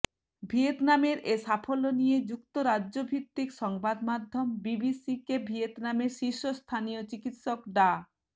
ভিয়েতনামের এ সাফল্য নিয়ে যুক্তরাজ্যভিত্তিক সংবাদমাধ্যম বিবিসিকেভিয়েতনামের শীর্ষস্থানীয় চিকিৎসক ডা